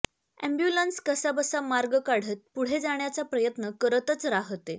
ambulance कसाबसा मार्ग काढत पुढे जाण्याचा प्रयत्न करतच राहते